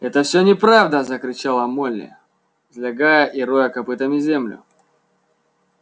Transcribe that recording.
это все неправда закричала молли взлягая и роя копытами землю